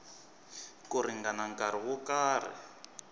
ku ringana nkarhi wo karhi